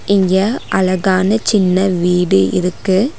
இங்க அழகான சின்ன வீடு இருக்கு.